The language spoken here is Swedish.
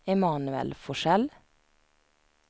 Emanuel Forsell